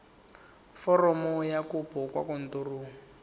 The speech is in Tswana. foromo ya kopo kwa kantorong